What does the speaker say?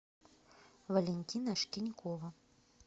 валентина шкинькова